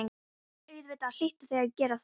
Auðvitað hlytu þau að gera það.